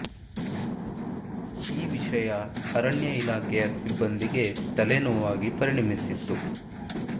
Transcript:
ಈ ವಿಷಯ ಅರಣ್ಯ ಇಲಾಖೆಯ ಸಿಬ್ಬಂದಿಗೆ ತಲೆ ನೋವಾಗಿ ಪರಿಣಮಿಸಿತ್ತು